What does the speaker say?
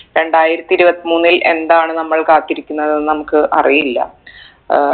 രണ്ടായിരത്തി ഇരുപത്തിമൂന്നിൽ എന്താണ് നമ്മൾ കാത്തിരിക്കുന്നത് എന്ന് നമ്മുക്ക് അറിയില്ല ഏർ